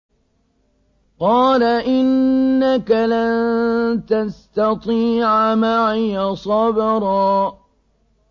قَالَ إِنَّكَ لَن تَسْتَطِيعَ مَعِيَ صَبْرًا